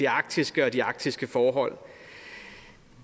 arktiske og de arktiske forhold